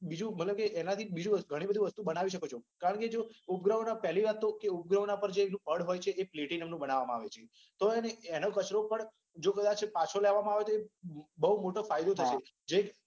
બીજુ કે ભલે બીજુ કે એનાથી ઘણી બધી વસ્તુ બનાવી શકો છે. કારણ કે જો ઉપગ્રહોના પેલી વાત કે જો ઉપગ્રહોના પડ જે હોય છે એ પ્લેટીનાના બનાવામાં આવે છે. હવે એનો કચરો પણ કદાચ પાછો લેવામાં આવે તો બઉ મોટો ફાયદો થાય એમ છે.